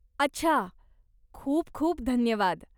अच्छा, खूप खूप धन्यवाद.